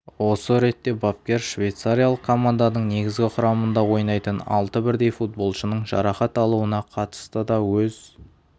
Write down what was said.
осы ретте бапкер швейцариялық команданың негізгі құрамында ойнайтын алты бірдей футболшының жарақат алуына қатысты да өз